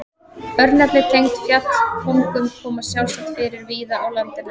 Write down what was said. Örnefni tengd fjallkóngum koma sjálfsagt fyrir víða á landinu.